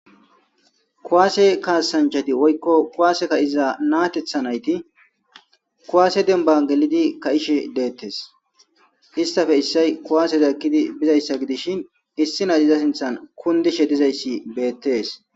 Kuwaasee kaassanchchathi woykko kuwaase ka7iza na7atheththa na7ithi kuwaase dembban gelide kaa7ishe deeththes; histhapeka issoy kuwaase ekkizi bizayssa issi nay ethe sinththan kunddishe dizayssi beeththees.